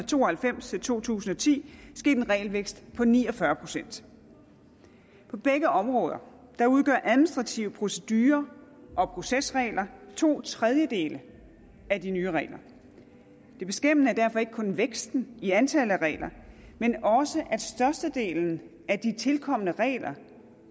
to og halvfems til to tusind og ti sket en regelvækst på ni og fyrre procent på begge områder udgør administrative procedurer og procesregler to tredjedele af de nye regler det beskæmmende er derfor ikke kun væksten i antallet af regler men også at størstedelen af de tilkomne regler